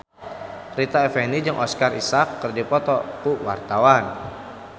Rita Effendy jeung Oscar Isaac keur dipoto ku wartawan